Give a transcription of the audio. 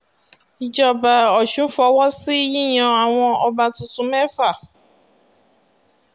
ìjọba ọ̀sùn fọwọ́ sí yíyan àwọn ọba tuntun mẹ́fà